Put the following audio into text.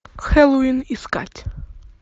хеллоуин искать